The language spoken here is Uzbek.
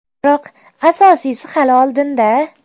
Biroq, asosiysi hali oldinda.